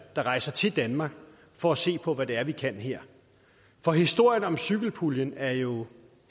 der rejser til danmark for at se på hvad det er vi kan her for historien om cykelpuljen er jo